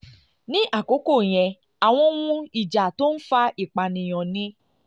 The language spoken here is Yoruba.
ní àkókò yẹn àwọn ohun ìjà tó ń fa ìpànìyàn ni